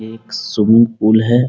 एक swimming pool है।